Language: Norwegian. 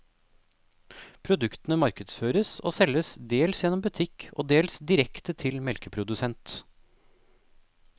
Produktene markedsføres og selges dels gjennom butikk og dels direkte til melkeprodusent.